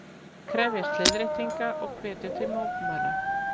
Krefjast leiðréttinga og hvetja til mótmæla